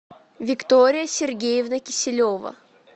виктория сергеевна киселева